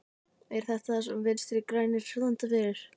Er þetta það sem Vinstri grænir standa fyrir?